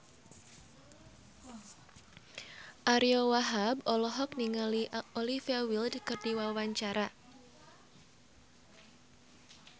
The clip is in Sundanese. Ariyo Wahab olohok ningali Olivia Wilde keur diwawancara